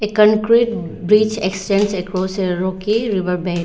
concrete bridge extends across a rocky river bed--